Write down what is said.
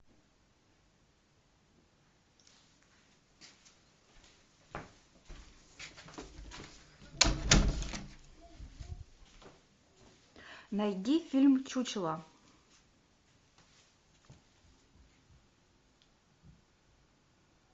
найди фильм чучело